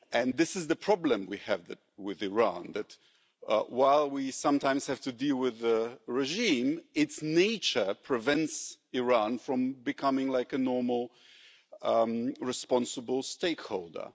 This is the problem that we have with Iran while we sometimes have to deal with the regime, its nature prevents Iran from becoming like a normal responsible stakeholder.